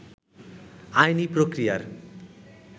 আইনি প্রক্রিয়ার